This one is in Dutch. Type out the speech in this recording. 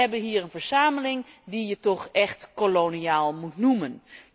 Wij hebben hier een verzameling die je toch echt koloniaal moet noemen.